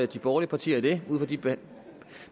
de borgerlige partier i det ud fra de